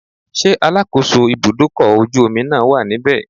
Ṣé alákòóso ibúdókọ̀ ojú omi náà wà níbẹ̀?